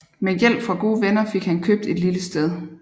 Med hjælp fra gode venner fik han købt et lille sted